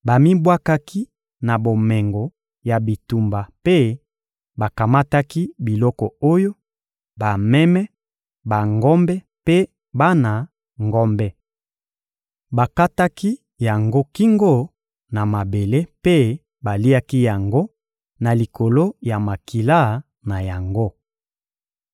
Bamibwakaki na bomengo ya bitumba mpe bakamataki biloko oyo: bameme, bangombe mpe bana ngombe. Bakataki yango kingo na mabele mpe baliaki yango na likolo ya makila na yango.